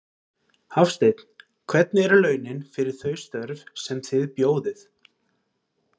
Hafsteinn: Hvernig eru launin fyrir þau störf sem þið bjóðið?